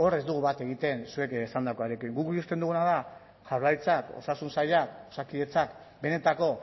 ez dugu bat egiten zuek esandakoarekin guk ikusten duguna da jaurlaritzak osasun sailak osakidetzak benetako